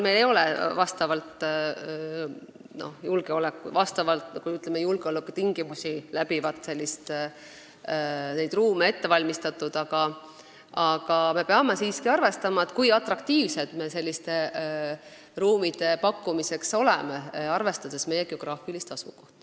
Meil küll ei ole julgeolekutingimustele vastavaid ettevalmistatud ruume, aga me peame siiski arvestama, kui atraktiivsed me selliste ruumide pakkumisel oleksime, arvestades meie geograafilist asukohta.